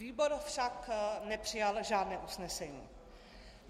Výbor však nepřijal žádné usnesení.